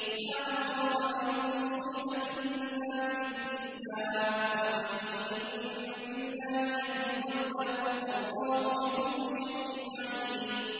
مَا أَصَابَ مِن مُّصِيبَةٍ إِلَّا بِإِذْنِ اللَّهِ ۗ وَمَن يُؤْمِن بِاللَّهِ يَهْدِ قَلْبَهُ ۚ وَاللَّهُ بِكُلِّ شَيْءٍ عَلِيمٌ